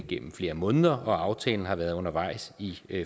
gennem flere måneder og aftalen har været undervejs i